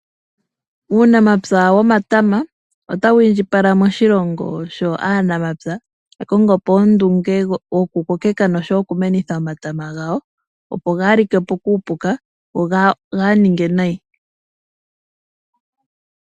Uunamapya womatama otawu indjipala moshilongo sho aanamapya ya kongopo ondunge yoku kokeka nosho woo oku meneka omatama gwawo opo gaalikepo kuupuka go gaaninge nayi.